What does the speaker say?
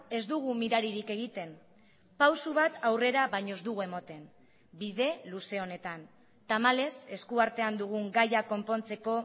ez dugu miraririk egiten pauso bat aurrera baino ez dugu ematen bide luze honetan tamalez eskuartean dugun gaia konpontzeko